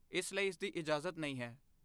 ਇਸ ਲਈ ਇਸਦੀ ਇਜਾਜ਼ਤ ਨਹੀਂ ਹੈ।